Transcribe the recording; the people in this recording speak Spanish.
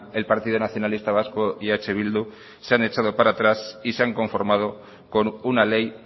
el partido nacionalista vasco y eh bildu se han echado para atrás y se han conformado con una ley